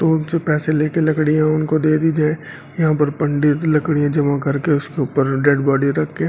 तो उनसे पैसे लेकर लकड़ियां उनको दे दी जाए यहां पर पंडित लकड़ियां जमा करके उसके ऊपर डेड बॉडी रख के --